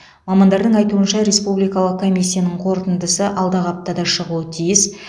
мамандардың айтуынша республикалық комиссиясының қорытындысы алдағы аптада шығуы тиіс